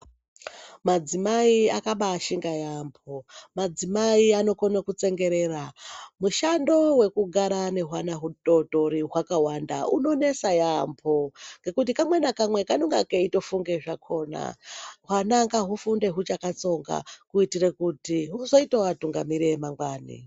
Madzimai akabaashinga yaamho. Madzimai anokone kutsengerera. Mushando wekugara wehwana hutootori hwakawanda unonesa yaamho ngekuti kamwe nakamwe kanenge keitofunga zvakona. Hwana ngahufunde huchakatsonga kuitira kuti huzoitawo vatungamiri vemangwani.